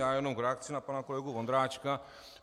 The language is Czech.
Já jenom v reakci na pana kolegu Vondráčka.